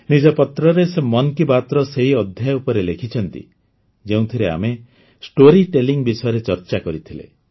ନିଜ ପତ୍ରରେ ସେ ମନ୍ କି ବାତ୍ର ସେହି ଅଧ୍ୟାୟ ବିଷୟରେ ଲେଖିଛନ୍ତି ଯେଉଁଥିରେ ଆମେ ଷ୍ଟୋରୀ ଟେଲିଂ ବିଷୟରେ ଚର୍ଚ୍ଚା କରିଥିଲେ